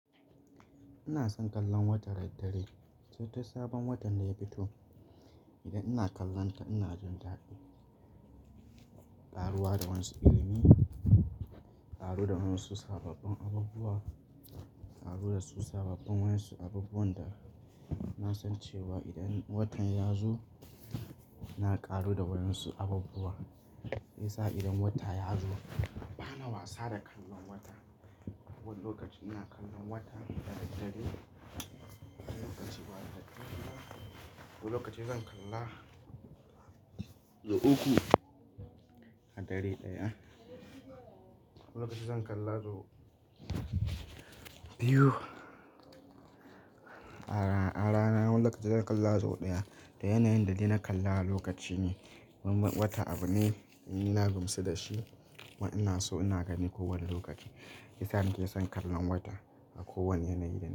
Ina son kallon wata da dare, sai tun sabon watan da ya fito. Idan ina kallon ka ina jin daɗi, ƙaruwa da wa'yansu ilimi, ƙaru da wa'yansu sababbin abubuwa, ƙaru da su sababbin wasu abubuwan da na san cewa idan watan ya zo ina ƙaru da wa'yansu abubuwa. Shi yasa idan wata ya zo bana wasa da kallon wata. Wani lokaci ina kallon wata da daddare, wani lokaci ba daddare ba, wani lokacin zan kalla sau uku a dare ɗaya, wani lokaci zan kalla sau biyu a rana, wani lokaci zan kalla zo ɗaya. Da yanayin da dai na kalla lokaci ne. Wata abu ne ni na gamsu da shi kuma ina so ina gani kowane lokaci. Shi yasa nake son kallon wata a kowane yanayi da.